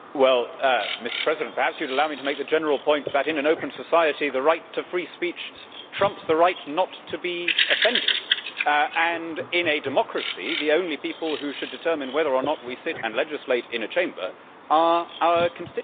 Mr President, perhaps you would allow me to make the general point that in an open society, the right to free speech trumps the right not to be offended and in a democracy, the only people who should determine whether or not we sit and legislate in a chamber are our constituents.